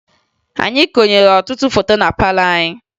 Anyị konyere ọtụtụ foto na palọ anyị